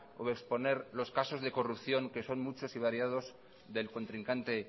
o exponer los casos de corrupción que son muchos y variados del contrincante